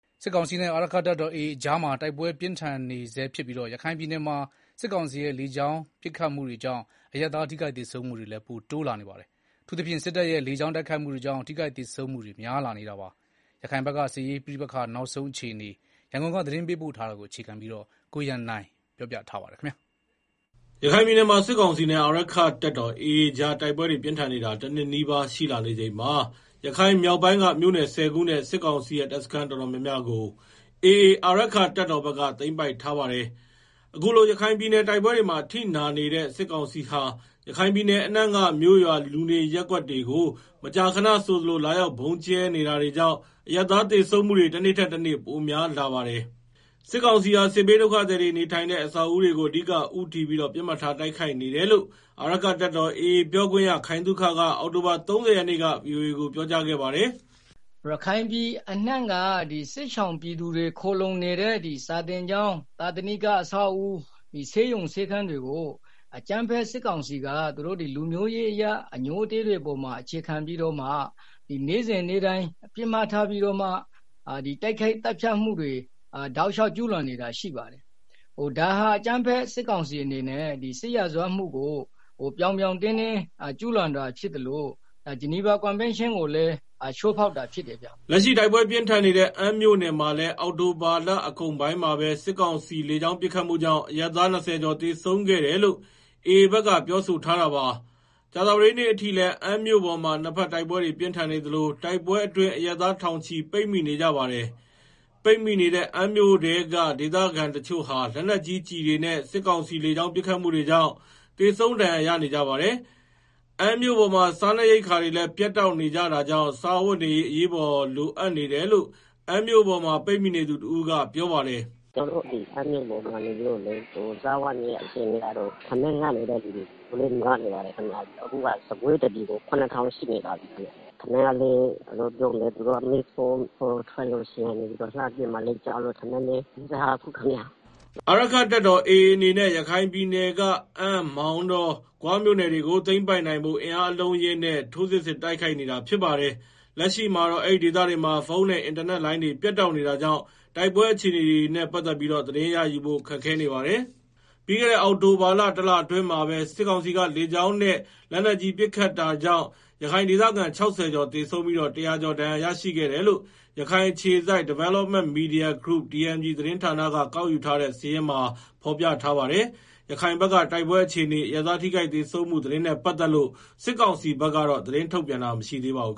စစ်ကောင်စီနဲ့ အာရက္ခတပ်တော် AA အကြား တိုက်ပွဲပြင်းထန်နေဆဲ ရခိုင်ပြည်နယ်မှာ စစ်ကောင်စီရဲ့ လေကြောင်းပစ်ခတ်မှုတွေကြောင့် အရပ်သားထိခိုက်သေဆုံးမှုတွေ ပိုတိုးလာနေပါတယ်။ အထူးသဖြင့် စစ်တပ်ရဲ့ လေကြောင်းတိုက်ခိုက်မှုတွေကြောင့် ထိခိုက် သေဆုံးမှုတွေ များလာနေတာပါ။ ရခိုင်ဘက်က စစ်ရေးပဋိပက္ခနောက်ဆုံးအခြေအနေ ရန်ကုန်ကပေးပို့တဲ့သတင်းကို အခြေခံပြီး တင်ပြထားပါတယ်။ ရခိုင်ပြည်နယ်မှာ စစ်ကောင်စီနဲ့ အာရက္ခတပ်တော် AA ကြားတိုက်ပွဲတွေ ပြင်းထန်နေတာ တနှစ်နီးပါးရှိလာနေချိန်မှာ ရခိုင်မြောက်ပိုင်းက မြို့နယ် ၁ဝ ခုနဲ့ စစ်ကောင်စီရဲ့ တပ်စခန်း တော်တော်များများကို AA အာရက္ခတပ်တော်ဘက်က သိမ်းပိုက်ထားပါတယ်။ အခုလို ရခိုင်ပြည်နယ် တိုက်ပွဲတွေမှာ အထိနာနေတဲ့ စစ်ကောင်စီဟာ ရခိုင်ပြည်နယ်အနှံ့က မြို့ရွာ လူနေရပ်ကွက် တွေဆို မကြာခဏဆိုသလို လာရောက်ဗုံးကြဲနေတာတွေကြောင့် အရပ်သား သေဆုံးမှုတွေ တနေ့ထက်တနေ့ ပိုများလာပါတယ်။ စစ်ကောင်စီဟာ စစ်ဘေးဒုက္ခသည်တွေ နေထိုင်တဲ့ အဆောက်အဦးတွေကို အဓိကဦးတည်ပြီး တော့ ပစ်မှတ်ထားတိုက်ခိုက်နေတယ်လို့ အာရက္ခတပ်တော် AA ပြောခွင့်ရ ခိုင်သုခက အောက်တိုဘာလ ၃ဝ ရက်နေ့က ဗွီအိုအေကို ပြောကြားခဲ့ပါတယ်။ “ရခိုင်ပြည်နယ် အနှံ့က စစ်ရှောင်ပြည်သူတွေ ခိုလှုံနေတဲ့ စာသင်ကျောင်း၊သာသနိက အဆောက်အဦ၊ ဆေးရုံ ဆေးခန်းတွေကို အကြမ်းဖက် စစ်ကောင်စီက လူမျိုးရေးအရ အငြိုးအတည်း တွေပေါ်မှာ အခြေခံပြီးတော့မှ နေ့စဉ်နေ့တိုင်း ပစ်မှတ်ထား တိုက်ခိုက် သတ်ဖြတ်မှုတွေ တောက်လျှောက် ကျူးလွန်နေတာရှိပါတယ်။ ဒါဟာ အကြမ်းဖက်စစ် ကောင်စီအနေနဲ့ စစ်ရာဇဝတ်မှုကို ပြောင်ပြောင်တင်းတင်းကျူးလွန်တာဖြစ်သလို ဂျနီဗာ ကွန်ဗန်းရှင်းကိုလည်း ချိုးဖောက်ရာရောက်တယ်ဗျာ။” လက်ရှိတိုက်ပွဲပြင်းထန်နေတဲ့ အမ်းမြို့နယ်မှာလည်း အောက်တိုဘာလ အကုန်ပိုင်းမှာပဲ စစ်ကောင်စီလေကြောင်းပစ်ခတ်မှုကြောင့် အရပ်သား ၂ဝ ကျော်သေဆုံးခဲ့တယ်လို့ AA ဘက်က ပြောဆိုထားတာပါ။ ကြာသပတေးနေ့အထိလည်း အမ်းမြို့ပေါ်မှာ နှစ်ဘက်တိုက်ပွဲတွေ ပြင်းထန်နေသလို တိုက်ပွဲအတွင်း အရပ် သားထောင်ချီ ပိတ်မိနေကြပါတယ်။ ပိတ်မိနေတဲ့ အမ်းမြို့ထဲက ဒေသခံတချို့ဟာ လက်နက်ကြီးကျည်တွေနဲ့ စစ်ကောင်စီလေကြောင်း ပစ်ခတ်မှုတွေကြောင့် သေဆုံးဒဏ်ရာရနေကြပါတယ်။ အမ်းမြို့ပေါ်မှာ စားနပ်ရိက္ခာတွေလည်းပြတ်တောက် နေကြတာကြောင့် စားဝတ်နေရေး အရေးပေးလိုအပ်နေတယ်လို့ အမ်းမြို့ပေါ် ပိတ်မိနေသူတဦးက ပြောပါတယ်။ “ကျနော်တို့ အမ်းမြို့နယ်မှာတော့ စားဝတ်နေရေးက ထမင်းငတ်နေတဲ့ သူတွေ တော်တော် များနေပါပြီခင်မျာ။ အခုက ဆန်ခွဲတပြည်ကို ၇ဝဝဝ ရှိနေပါပြီ။ ပြီးတော့ ထမင်းချက်ဖို့ကလည်း သူတို့က မီးခိုးတွေမြင်ရင် လှမ်းပစ်မှာလည်း ကြောက်ရတော့ ထမင်းလည်းချက်မစားရဲကြဘူ။” အာရက္ခတပ်တော် AA အနေနဲ့ ရခိုင်ပြည်နယ်က အမ်း မောင်တော ဂွမြို့နယ်တွေကို သိမ်းပိုက်နိုင်ဖို့ အင်အားအလုံးအရင်းနဲ့ ထိုးစစ်ဆင်တိုက်ခိုက်နေတာ ဖြစ်ပါတယ်။ လက်ရှိမှာတော့ အဲဒီဒေသတွေမှာ ဖုန်းနဲ့ အင်တာနက်လိုင်းတွေ ပြတ်တောက်နေတာကြောင့် တိုက်ပွဲ အခြေ အနေတွေနဲ့ ပတ်သတ်ပြီးသတင်းရယူဖို့ ခက်ခဲနေပါတယ်။ ပြီးခဲ့တဲ့ အောက်တိုဘာလ တလအတွင်းမှာပဲ စစ်ကောင်စီလေကြောင်းနဲ့ လက်နက်ကြီး ပစ် ခတ်မှာကြောင့် ရခိုင်ဒေသခံ ၆ဝကျော်သေဆုံးပြီးတော့ ၁ဝဝကျော် ဒဏ်ရာရရှိခဲ့တယ်လို့ ရခိုင်အခြေစိုက် Development Media Group(DMG) သတင်းဌာနက ကောက်ယူထားတဲ့ စာရင်းမှာဖော်ပြထားပါတယ်။ ရခိုင်ဘက်က တိုက်ပွဲအခြေအနေ၊ အရပ်သားထိခိုက်သေဆုံးမှုသတင်းနဲ့ပတ်သက်လို့ စစ်ကောင်စီဘက်ကတော့ သတင်းထုတ်ပြန်တာမရှိသေးပါဘူး